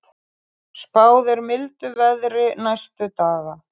Spáð er mildu veðri næstu daga